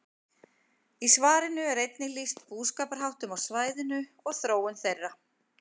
Í svarinu er einnig lýst búskaparháttum á svæðinu og þróun þeirra.